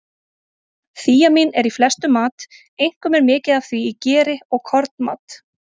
Þíamín er í flestum mat, einkum er mikið af því í geri og kornmat.